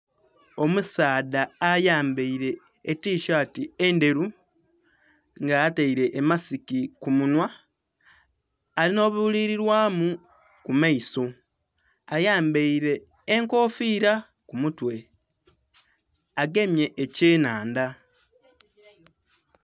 Omusaadha ayambere etishati endhelu nga atele emasiki kumunhwa alinha obubililwamu kumaiso ayambere enkofiira kumutwe agemye ekye nnhandha.